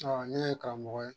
Awɔ ne ye karamɔgɔ ye